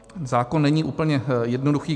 Zákon není úplně jednoduchý.